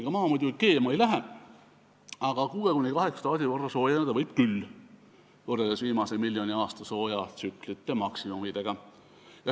Ega Maa muidugi keema ei lähe, aga 6–8 kraadi võrra soojeneda võib küll, võrreldes viimase miljoni aasta soojatsüklite maksimumidega.